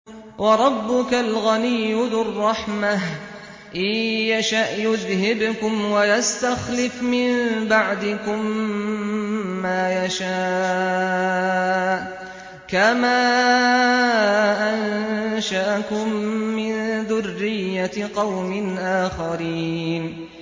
وَرَبُّكَ الْغَنِيُّ ذُو الرَّحْمَةِ ۚ إِن يَشَأْ يُذْهِبْكُمْ وَيَسْتَخْلِفْ مِن بَعْدِكُم مَّا يَشَاءُ كَمَا أَنشَأَكُم مِّن ذُرِّيَّةِ قَوْمٍ آخَرِينَ